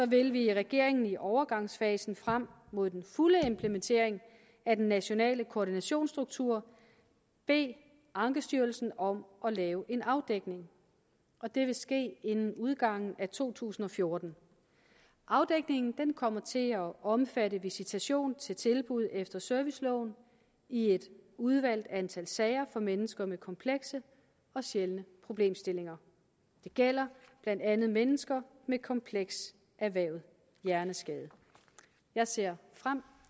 vil vi i regeringen i overgangsfasen frem mod den fulde implementering af den nationale koordinationsstruktur bede ankestyrelsen om at lave en afdækning og det vil ske inden udgangen af to tusind og fjorten afdækningen kommer til at omfatte visitation til tilbud efter serviceloven i et udvalgt antal sager for mennesker med komplekse og sjældne problemstillinger det gælder blandt andet mennesker med kompleks erhvervet hjerneskade jeg ser frem